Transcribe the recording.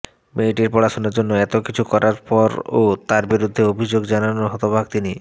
মেয়েটির পড়াশুনার জন্য এত কিছু করার পরও তার বিরুদ্ধে অভিযোগ জানানোয় হতবাক তিনি